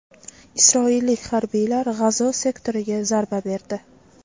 Isroillik harbiylar G‘azo sektoriga zarba berdi.